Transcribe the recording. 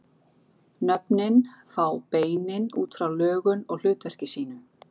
Nöfnin fá beinin út frá lögun og hlutverki sínu.